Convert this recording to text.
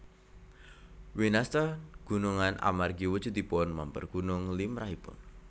Winastan gunungan amargi wujudipun mèmper gunung limrahipun